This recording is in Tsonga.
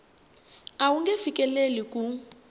a wu nge fikeleli ku